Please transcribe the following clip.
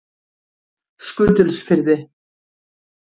Skutulsfirði